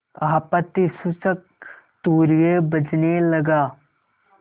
आपत्तिसूचक तूर्य बजने लगा